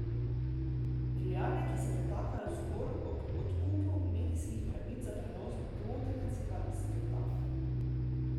Milijarde, ki se pretakajo zgolj ob odkupu medijskih pravic za prenos dvotedenskega spektakla.